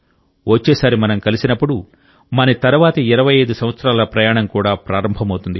వచ్చేసారి మనం కలిసినప్పుడు మన తర్వాతి 25 సంవత్సరాల ప్రయాణం కూడా ప్రారంభమవుతుంది